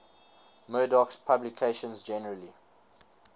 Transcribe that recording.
murdoch's publications generally